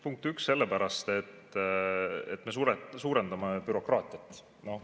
Punkt üks, sellepärast et me suurendame bürokraatiat.